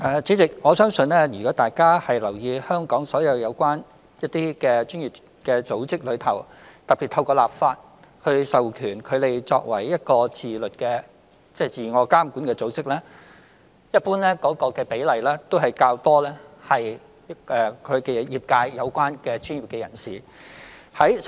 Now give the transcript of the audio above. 主席，我相信如果大家有留意，香港所有相關專業組織，特別是透過立法授權作為一個自我監管的組織，一般的成員比例都較多為與業界相關的專業人士。